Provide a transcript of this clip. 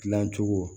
Dilancogo